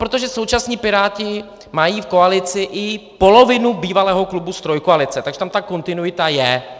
Protože současní Piráti mají v koalici i polovinu bývalého klubu z Trojkoalice, takže tam ta kontinuita je.